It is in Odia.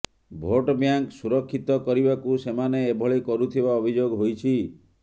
ଭୋଟ ବ୍ୟାଙ୍କ ସୁରକ୍ଷିତ କରିବାକୁ ସେମାନେ ଏଭଳି କରୁଥିବା ଅଭିଯୋଗ ହୋଇଛି